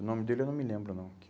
O nome dele eu não me lembro, não.